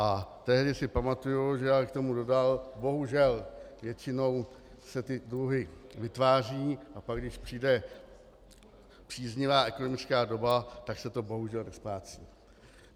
A tehdy si pamatuji, že ale k tomu dodal, bohužel většinou se ty dluhy vytváří, a pak když přijde příznivá ekonomická doba, tak se to bohužel nesplácí.